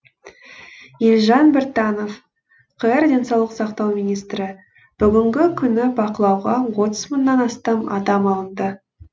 елжан біртанов қр денсаулық сақтау министрі бүгінгі күні бақылауға отыз мыңнан астам адам алынды